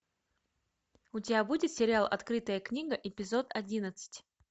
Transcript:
у тебя будет сериал открытая книга эпизод одиннадцать